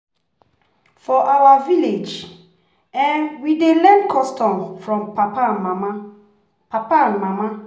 For village, we dey learn custom from papa and mama. papa and mama.